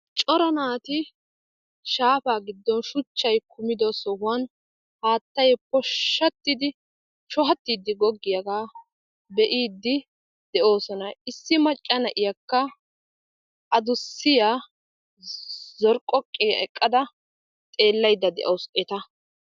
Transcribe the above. cora naati shaafaa giddon shuchchay kumido sohan haattay poshshattidi shohattiiddi goggiyaaga be'iiddi de'oosona. Issi macca na'iyakka adussiyaa zorqqoqqiyaa eqqada xeellaydda de'awusu eta.